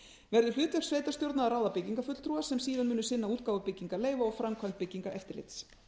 verði hlutverk sveitarstjórna að ráða byggingarfulltrúa sem síðan muni sinna útgáfu byggingarleyfa og framkvæmd byggingareftirlits